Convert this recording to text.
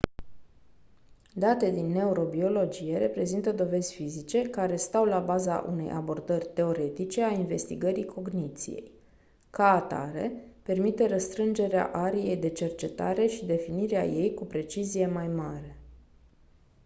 datele din neurobiologie reprezintă dovezi fizice care stau la baza unei abordări teoretice a investigării cogniției ca atare permite restrângerea ariei de cercetare și definirea ei cu precizie mai mare